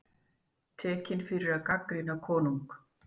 Tekinn fyrir að gagnrýna konung